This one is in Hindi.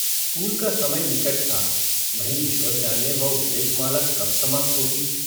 स्कूल का समय निकट था नहीं ईश्वर जाने वह उपदेशमाला कब समाप्त होती।